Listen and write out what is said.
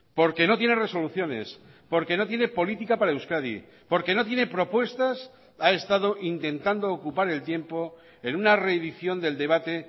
porque no tiene resoluciones porque no tiene política para euskadi porque no tiene propuestas ha estado intentando ocupar el tiempo en una reedición del debate